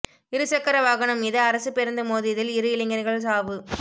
இருசக்கர வாகனம் மீது அரசுப் பேருந்து மோதியதில் இரு இளைஞா்கள் சாவு